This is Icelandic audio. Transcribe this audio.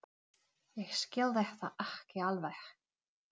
Síðan förum við aftur í skóna.